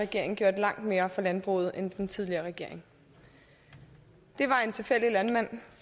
regering gjort langt mere for landbruget end den tidligere regering det var en tilfældig landmand